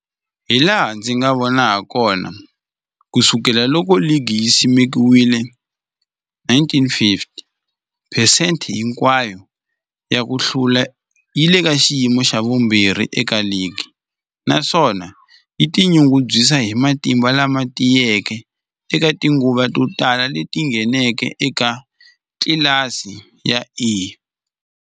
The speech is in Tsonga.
Hilaha ndzi nga vona hakona, ku sukela loko ligi yi simekiwile, 1950, phesente hinkwayo ya ku hlula yi le ka xiyimo xa vumbirhi eka ligi, naswona yi tinyungubyisa hi matimba lama tiyeke eka tinguva to tala leti yi ngheneke eka tlilasi ya A.